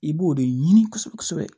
I b'o de ɲini kosɛbɛ kosɛbɛ